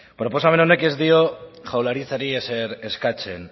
proposamen honek ez dio jaurlaritzari ezer eskatzen